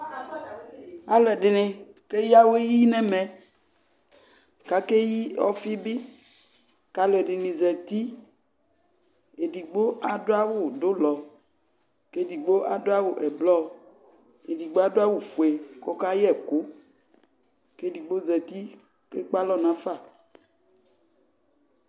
Alʋɛdɩnɩ keyǝ awɛ yi nʋ ɛmɛ kʋ akeyi ɔfɩ bɩ kʋ alʋɛdɩnɩ zati Edigbo adʋ awʋdʋlɔ kʋ edigbo adʋ awʋ ɛblɔ Edigbo adʋ awʋfue kʋ ɔkayɛ ɛkʋ kʋ edigbo zati kʋ ekpe alɔ nafa